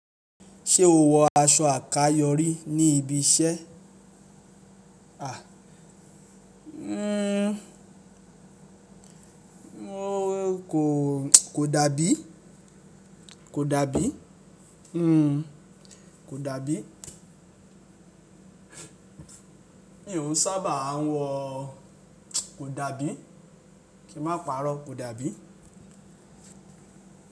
Ṣé o wọ aṣọ àkayò rí ní ibi iṣẹ́? A, o kò dàbí. Kò dàbí. Kò dàbí. Mi òún sábà á wọ̀. Kò dàbí. Kí má pa'rọ́, kò dàbí.